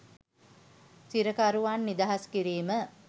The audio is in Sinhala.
සිරකරුවන් නිදහස් කිරීම